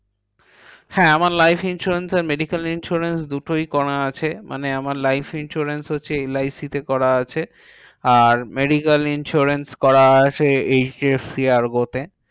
হ্যাঁ আমার life insurance আর medical insurance দুটোই করা আছে। মানে আমার life insurance হচ্ছে এল আই সি তে করা আছে। আর medical insurance করা আছে H D F C Ergo তে।